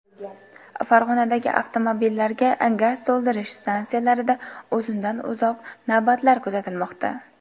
Farg‘onadagi avtomobillarga gaz to‘ldirish stansiyalarida uzundan-uzoq navbatlar kuzatilmoqda .